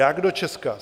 Jak do Česka?